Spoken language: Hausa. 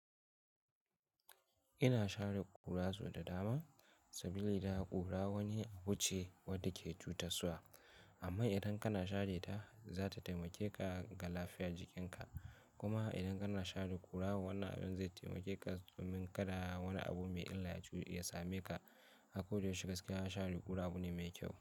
Ina share ƙura so da dama saboda ita ƙura wani abu ce wadda ke cutarwa. Amma idan kana share ta, za ta taimake ka ga lafiyar jikinka. Kuma idan kana share ƙura, wannan abin zai taimake ka domin kada wani abu mai illa ya sa me ka. Ako da yaushe gaskiya share ƙura abu ne mai kyau.